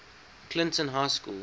clinton high school